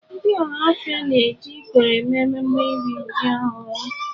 Ndị Ọhafia na-eji ikoro eme mmemme iri ji ọhụrụ.